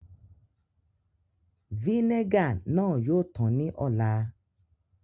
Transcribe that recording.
Vínègà náà yoo tan ní ò̩lá.